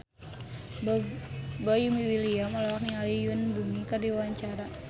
Boy William olohok ningali Yoon Bomi keur diwawancara